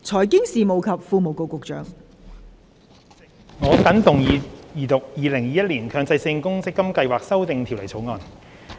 代理主席，我謹動議二讀《2021年強制性公積金計劃條例草案》。